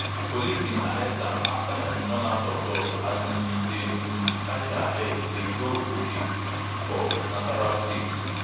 police bin arrest am afta im run out of luck as im bin dey um carry her head dey go uke for nasarawa state